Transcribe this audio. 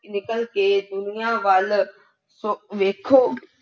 ਨਿਕਲ ਕੇ ਦੁਨੀਆਂ ਵੱਲ ਸ ਵੇਖੋ।